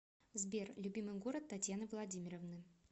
сбер любимый город татьяны владимировны